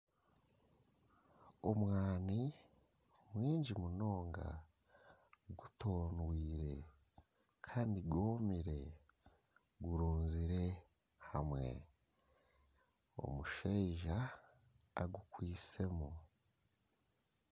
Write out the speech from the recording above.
Omwaani mwingi munonga gutondwire kandi gwomire gurunzire hamwe omushaija agukwaitsemu.